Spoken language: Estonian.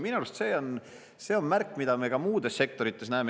Minu arust on see märk, mida me näeme ka muudes sektorites.